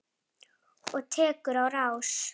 Og tekur á rás.